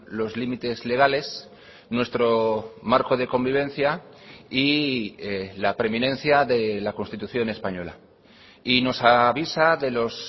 los límites legales nuestro marco de convivencia y la preeminencia de la constitución española y nos avisa de los